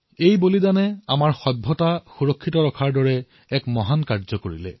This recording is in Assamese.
এই দেহত্যাগে আমাৰ সভ্যতাক সুৰক্ষিত কৰি ৰখাৰ মহান কাৰ্য কৰিছে